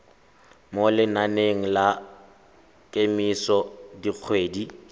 mo lenaneng la kemiso dikgwedi